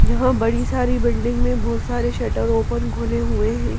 जहाँ बड़ी सारी बिल्डिंग में बहुत सारे शटर ओपन खुले हुए हैं।